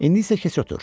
İndi isə keç otur.